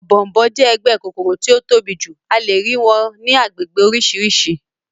Ọ̀bọ̀ọ̀nbọọ̀n jẹ́ ẹgbẹ́ kòkòrò tí ó tóbi jù, a lè rí wọn ní agbègbè oríṣiríṣi